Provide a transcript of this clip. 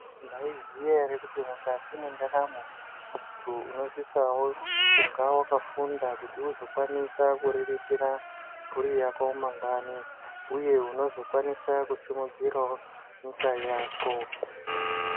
Maiziya here kuti mukati mwendaramo, muntu unosisawo kunga wakafunda kuti uzokwanisa kuriritira mburi yako mangwani, uye unozokwanisa kusimudzirawo nyika yako.